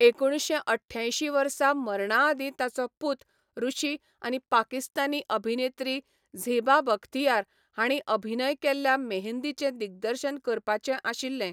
एकुणशे अठ्ठ्यांयशीं वर्सा मरणा आदीं ताचो पूत ऋषि आनी पाकिस्तानी अभिनेत्री झेबा बख्तियार हांणी अभिनय केल्ल्या मेहंदीचें दिग्दर्शन करपाचें आशिल्लें.